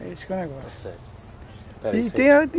É esse que é o negócio, está certo